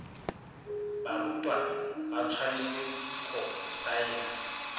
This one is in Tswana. barutwana ba tshwanetse go saena